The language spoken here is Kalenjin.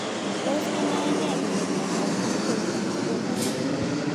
Tos kinae nee kole miondop glucose transporter 1